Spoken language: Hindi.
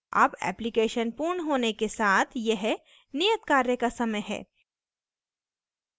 अब application पूर्ण होने के साथ यह नियतकार्य का समय है